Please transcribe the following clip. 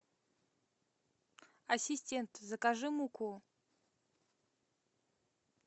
ассистент закажи муку